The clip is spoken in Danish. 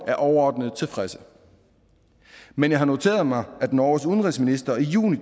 er overordnet tilfredse men jeg har noteret mig at norges udenrigsminister i juni